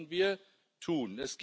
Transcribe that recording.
Das sollten wir tun.